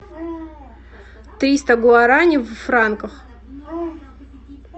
триста гуарани в франках